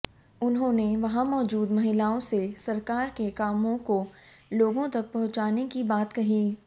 उन्होंने वहां मौजूद महिलाओं से सरकार के कामों को लोगों तक पहुंचाने की बात कही